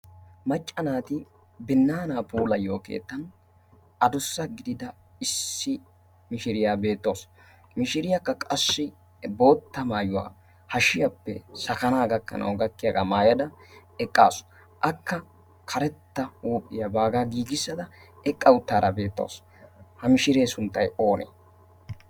Macca naati binaanaa puulayiyo keettan adusa gidida issi mishiriyaa beettawusu. Mishiriyaakka qasshi bootta maayuwaa hashshiyaappe sakanaa gakkanawu gakkiyaagaa maayada eqqaasu. Akka karetta huuphiyaa baagaa giigissada eqqa uttaada beettawusu. ha mishiree sunttay oonee?